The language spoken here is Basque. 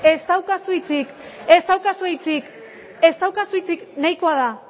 ez daukazu hitzik ez daukazu hitzik ez daukazu hitzik nahikoa da